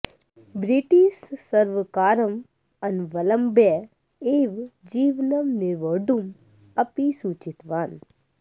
British सर्वकारम् अनवलम्ब्य एव जीवनं निर्वोढुम् अपि सूचितवान्